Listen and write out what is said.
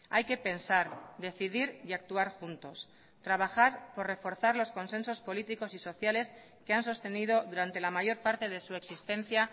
hay que pensar decidir y actuar juntos trabajar por reforzar los consensos políticos y sociales que han sostenido durante la mayor parte de su existencia